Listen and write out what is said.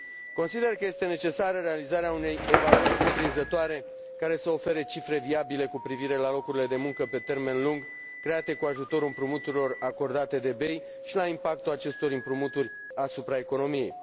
Consider că este necesară realizarea unei evaluări cuprinzătoare, care să ofere cifre viabile cu privire la locurile de muncă pe termen lung, create cu ajutorul împrumuturilor acordate de BEI și la impactul acestor împrumuturi asupra economiei.